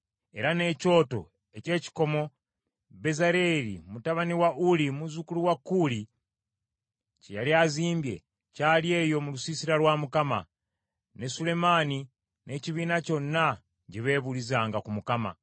Era n’ekyoto eky’ekikomo Bezaaleeri mutabani wa Uli, muzzukulu wa Kuuli kye yali azimbye, kyali eyo mu lusiisira lwa Mukama , ne Sulemaani n’ekibiina kyonna gye beebuulizanga ku Mukama .